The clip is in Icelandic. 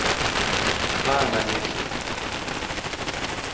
Haganesi